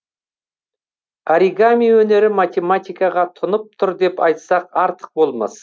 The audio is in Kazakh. оригами өнері математикаға тұнып тұр деп айтсақ артық болмас